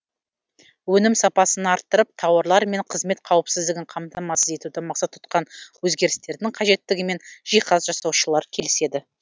өнім сапасын арттырып тауарлар мен қызмет қауіпсіздігін қамтамасыз етуді мақсат тұтқан өзгерістердің қажеттігімен жиһаз жасаушылар келіседі